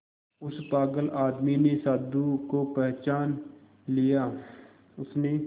उस पागल आदमी ने साधु को पहचान लिया उसने